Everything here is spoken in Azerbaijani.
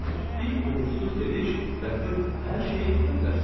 Bir uğursuz gediş və siz hər şeyi itirə bilərsiz.